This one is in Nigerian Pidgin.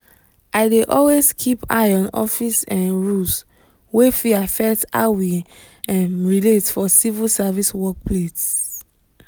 i dey always keep eye on office um rules wey fit affect how we um relate for civil service work place.